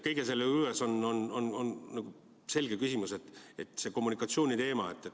Kõige selle juures on selgelt see kommunikatsiooniteema küsimus.